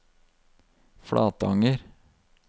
Flatanger